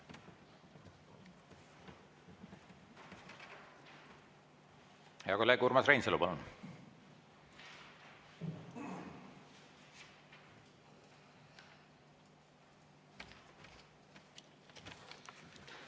Hea kolleeg Urmas Reinsalu, palun!